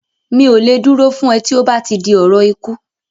Mi ò lè dúró fún ẹ tí ó bá ti di ọ̀rọ̀ ikú